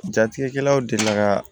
Jatigɛkɛlaw delila ka